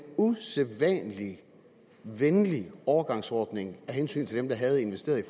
usædvanlig venlig overgangsordning af hensyn til dem der havde investeret i